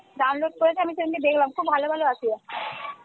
download করেছে আমি তো এমনি দেখলাম খুব ভালো ভালো আছে আহ